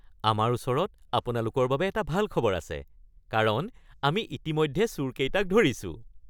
আমাৰ ওচৰত আপোনালোকৰ বাবে এটা ভাল খবৰ আছে কাৰণ আমি ইতিমধ্যে চোৰকেইটাক ধৰিছোঁ। (পুলিচ)